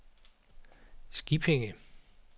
Skippinge